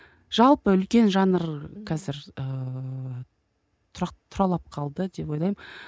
жалпы үлкен жанр қазір ыыы туралап калды деп ойлаймын